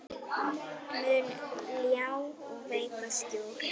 mun ljá og veita skjól.